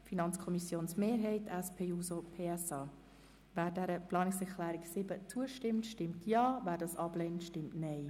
Wer diese annimmt, stimmt Ja, wer diese ablehnt, stimmt Nein.